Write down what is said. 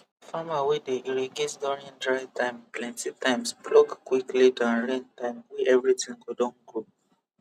farmer wey dey irrigate during dry time plenty times pluck quickly than rain time wey everything go don grow